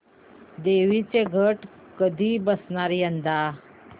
देवींचे घट कधी बसणार यंदा